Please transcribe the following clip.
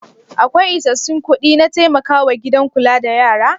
Akwai isassun kuɗi na taimakawa gidan kula da yara?